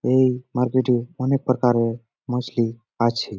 এই মার্কেট এ অনেক প্রকারের মছলি আছে।